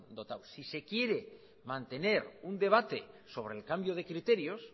dotados si se quiere mantener un debate sobre el cambio de criterios